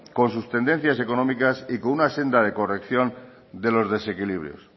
con sus tendencias económicas y con una senda de corrección de los desequilibrios